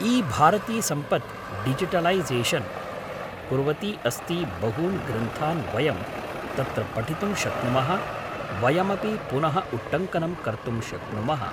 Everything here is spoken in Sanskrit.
ईभारतीसम्पत् डिजिटलैसेशन् कुर्वती अस्ति बहून् ग्रन्थान् वयं तत्र पठितुं शक्नुमः वयमपि पुनः उट्टङ्कनं कर्तुम् शक्नुमः